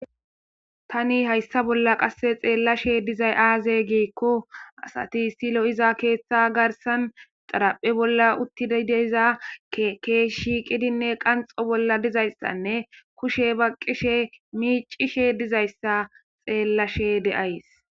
tani hayssa bolla qasse xeellashe dizay aaze giikko asati issi lo'iza keeththa garsan xaraphe bolla uttida deiza keesh shiiqidinne qanxo bolla dizayssanne kushe baqqishe miicishe dizayssa xeellashe de'ays